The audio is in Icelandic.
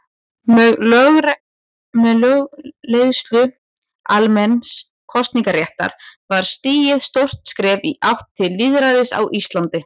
Með lögleiðingu almenns kosningaréttar var stigið stórt skref í átt til lýðræðis á Íslandi.